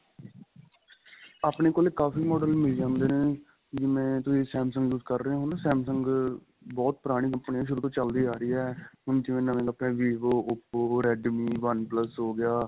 ਆਪਣੇ ਕੋਲ ਕਾਫੀ model ਮਿਲ ਜਾਂਦੇ ਨੇ ਜਿਵੇਂ ਤੁਸੀਂ Samsung use ਕਰ ਰਹੇ ਓ ਹਨਾ Samsung ਬਹੁਤ ਪੁਰਾਣੀ company ਏ ਸ਼ੁਰੂ ਤੋਂ ਚੱਲਦੀ ਆ ਰਹੀ ਏ ਹੁਣ ਜਿਵੇਂ ਨਵੇ ਆਪਣੇ vivo oppo redme oneplus ਹੋ ਗਿਆ